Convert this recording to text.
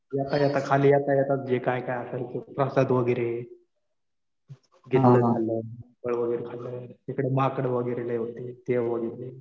येता येता, खाली येता येता जे काही काही असेल ते प्रसाद वगैरे तिथलं खाल्लं. फळ वगैरे खाल्लं. तिकडं माकड वगैरे लय होते ते बघितले.